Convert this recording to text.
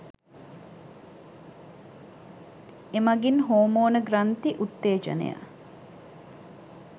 එමගින් හෝමෝන ග්‍රන්ථි උත්තේජනය